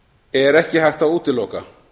er ekki hægt að útiloka